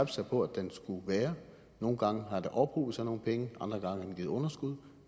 sig på at den skulle være nogle gange har der ophobet sig nogle penge andre gange har den givet underskud